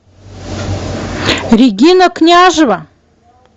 регина княжева